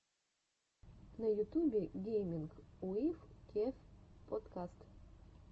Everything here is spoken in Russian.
на ютюбе гейминг уив кев подкаст